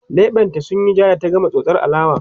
leɓen ta sunyi jaa da ta gama tsotsar alewa